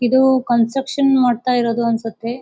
ಇದು ಕನ್ಸ್ಟ್ರಕ್ಷನ್ ಮಾಡ್ತಾಯಿರೋದು ಅನ್ಸುತ್ತೆ.